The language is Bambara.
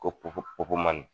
Ko popo popomani